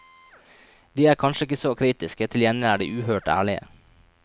De er kanskje ikke så kritiske, til gjengjeld er de uhørt ærlige.